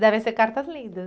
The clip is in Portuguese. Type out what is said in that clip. Devem ser cartas lindas.